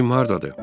Cim hardadır?